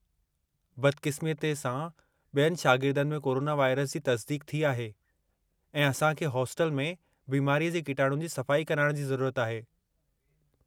बदक़िस्मतीअ सां, बि॒यनि शागिर्दनि में कोरोना वायरस जी तस्दीक़ थी आहे, ऐं असां खे हास्टल में बिमारीअ जे किटाणुनि जी सफ़ाई कराइण जी ज़रूरत आहे।